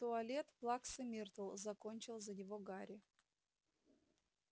туалет плаксы миртл закончил за него гарри